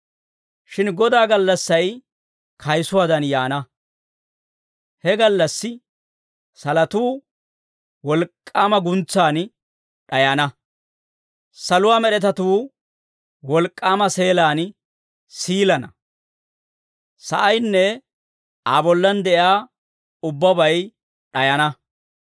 Shin Godaa gallassay kayisuwaadan yaana. He gallassi salotuu wolk'k'aama guntsan d'ayana; saluwaa med'etatuu wolk'k'aama seelaan siilana; sa'aynne Aa bollan de'iyaa ubbabay d'ayana.